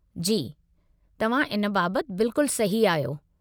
जी, तव्हां इन बाबतु बिल्कुल सही आहियो।